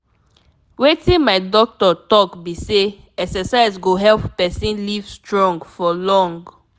wetin my doctor talk be say exercise go help person live strong for long.